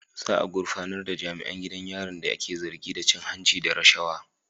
Za a gurfanar da jami'an gidan yarin da ake zargi da cin hanci da rashawa.